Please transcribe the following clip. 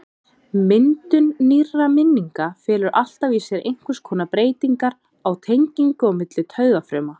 Myndun nýrra minninga felur alltaf í sér einhvers konar breytingu á tengingum á milli taugafruma.